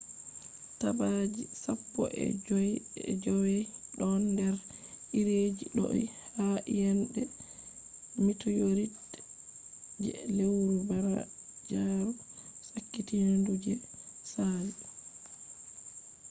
tapaji sappo e jowey ɗon nder iri je do’i ha iyende mitiorit je lewru banjaaru sakitindu je saali